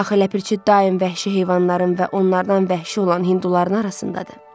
Axı ləpirçi daim vəhşi heyvanların və onlardan vəhşi olan hinduların arasındadır.